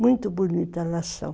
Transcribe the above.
Muito bonita elas são.